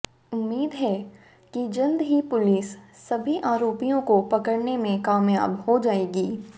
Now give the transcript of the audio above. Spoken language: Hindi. उम्मीद है कि जल्द ही पुलिस सभी आरोपियों को पकड़ने में कामयाब हो जायेगी